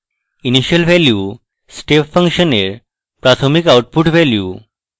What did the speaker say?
initial value step function এর প্রাথমিক output value